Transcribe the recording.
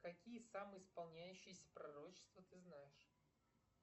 какие самые исполняющиеся пророчества ты знаешь